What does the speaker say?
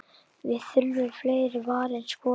Við þurfum fleiri varin skot.